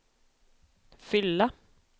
fylla